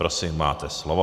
Prosím, máte slovo.